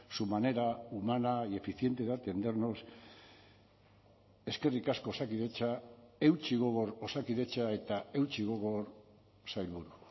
su manera humana y eficiente de atendernos eskerrik asko osakidetza eutsi gogor osakidetza eta eutsi gogor sailburu